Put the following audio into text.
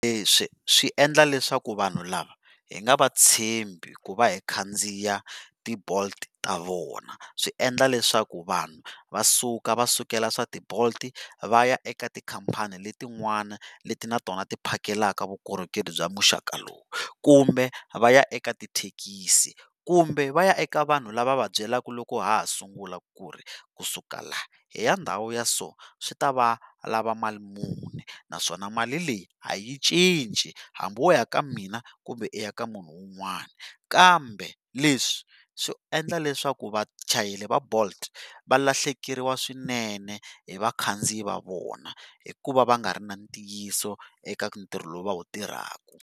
Leswi swi endla leswaku vanhu lava hi nga va tshembi ku va hi khandziya ti bolt ta vona swi endla leswaku vanhu va suka va sukela swa ti bolt va ya eka tikhampani letin'wana leti na tona ti phakelaka vukorhokeri bya muxaka lowu kumbe va ya eka tithekisi kumbe va ya eka vanhu lava va va byelaka loko ha ha sungula ku ri kusuka la hi ya ndhawu ya so swi ta va lava mali muni naswona mali leyi a yi cinci hambi wo ya ka mina kumbe u ya eka munhu wun'wani kambe leswi swi endla leswaku vachayeri va bolt valahlekeriwa swinene hi vakhandziyi va vona hikuva va nga ri na ntiyiso eka ntirho lowu va wu tirhaka.